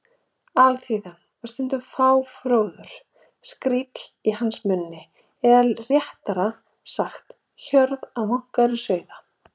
Alþýðan var stundum fáfróður skríll í hans munni eða réttara sagt: hjörð vankaðra sauða.